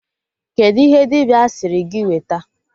Kedụ ihe dibịa sịrị gị weta?